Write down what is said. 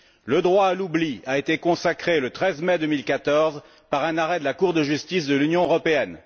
Le droit à l'oubli a été consacré le 13 mai 2014 par un arrêt de la Cour de justice de l'Union européenne.